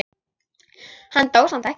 Hann dó samt ekki.